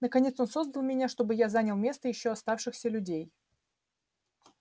наконец он создал меня чтобы я занял место ещё оставшихся людей